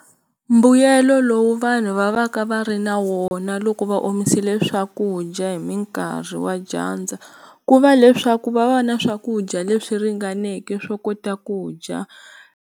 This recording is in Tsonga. Mbuyelo lowu vanhu va va ka va ri na wona loko va omisile swakudya hi minkarhi wa dyandza ku va leswaku va va ni swakudya leswi ringaneke swo kota ku dya.